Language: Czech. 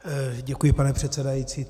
Děkuji, pane předsedající.